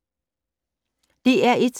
DR1